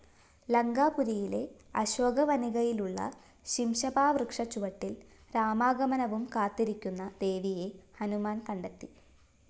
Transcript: ലങ്കാപുരിയിലെ അശോകവനികയിലുള്ള ശിംശപാവൃക്ഷച്ചുവട്ടില്‍ രാമാഗമനവും കാത്തിരിക്കുന്ന ദേവിയെ ഹനുമാന്‍ കണ്ടെത്തി